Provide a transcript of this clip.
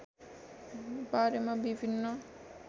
वारेमा विभिन्न